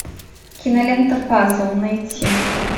кинолента пазл найти